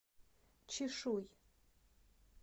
чишуй